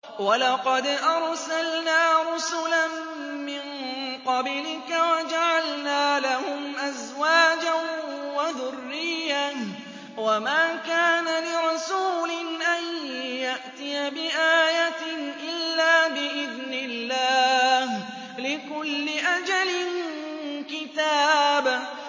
وَلَقَدْ أَرْسَلْنَا رُسُلًا مِّن قَبْلِكَ وَجَعَلْنَا لَهُمْ أَزْوَاجًا وَذُرِّيَّةً ۚ وَمَا كَانَ لِرَسُولٍ أَن يَأْتِيَ بِآيَةٍ إِلَّا بِإِذْنِ اللَّهِ ۗ لِكُلِّ أَجَلٍ كِتَابٌ